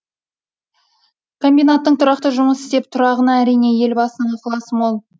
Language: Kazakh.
комбинаттың тұрақты жұмыс істеп тұрғанына әрине елбасының ықыласы мол